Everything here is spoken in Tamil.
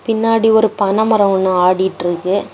பின்னாடி ஒரு பனை மரம் ஒன்னு ஆடிட்டுருக்கு.